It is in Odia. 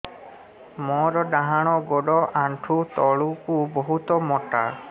ମୋର ଡାହାଣ ଗୋଡ ଆଣ୍ଠୁ ତଳୁକୁ ବହୁତ ମୋଟା